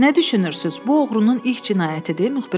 Nə düşünürsünüz, bu oğrunun ilk cinayətidir,